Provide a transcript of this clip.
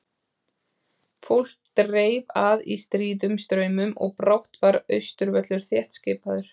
Fólk dreif að í stríðum straumum og brátt var Austurvöllur þéttskipaður.